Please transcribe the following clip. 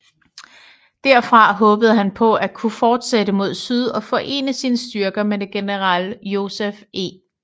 Derfra håbede han på at kunne fortsætte mod syd og forene sine styrker med general Joseph E